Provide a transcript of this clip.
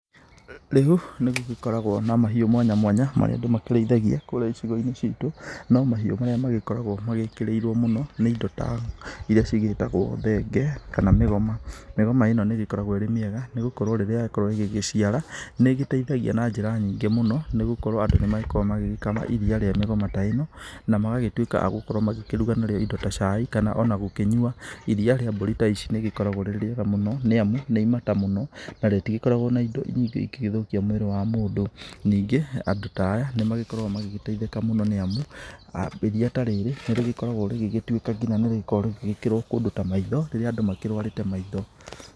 Rĩu, nĩ gũgĩkoragwo na mahiũ mwanya mwanya, marĩa andũ makĩrĩithagia kũrĩa icigo-inĩ citũ, no mahiũ marĩa magĩkoragwo magĩkĩrĩirwo mũno, nĩ indo ta irĩa cigĩtagwo thenge, kana mĩgoma. Mĩgoma ĩno nĩ ĩgĩkorwo ĩrĩ mĩega, nĩ gũkorwo rĩrĩa yakorwo ĩgĩgĩciara, nĩ ĩgĩteithagia na njĩra nyingĩ mũno, nĩ gũkorwo andũ nĩ magĩkoragwo magĩgĩkama iriia rĩa mĩgoma ta ĩno, na magagĩtuĩka a gũkorwo makĩruga narĩo indo ta cai, kana ona gũkĩnyua. Iriia rĩa mbũri ta ici nĩ rĩgĩkoragwo rĩrĩ rĩega mũno, nĩ amu nĩ imata mũno, na rĩtigĩkoragwo na indo nyingĩ ingĩgĩthũkia mwĩrĩ wa mũndũ. Ningĩ, andũ ta aya, nĩ magĩkoragwo magĩgĩteithĩka mũno nĩamu, iriia ta rĩrĩ, nĩ rĩgĩkoragwo rĩgĩgĩtuĩka nginya nĩ rĩkoragwo rĩgĩkĩrwo kũndũ ta maitho rĩrĩa andũ makĩrũarĩte maitho.